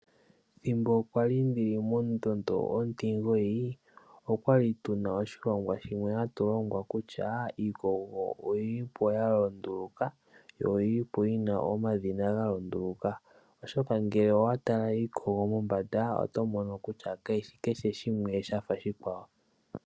Thimbo kwali ndili mondondo 9 okwali tuna oshilongwa shimwe hatulongwa kutya iikogo oyili po yayooloka yo oyili po yina omadhina gayooloka, oshoka ngele owa tala iikogo mombanda oto mono kutya kashishi keshe shimwe shafa oshikwawo.